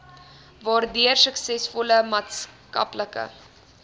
waardeur suksesvolle maatskaplike